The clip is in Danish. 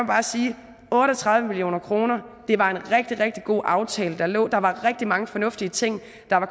bare sige otte og tredive million kroner det var en rigtig rigtig god aftale der lå og der var rigtig mange fornuftige ting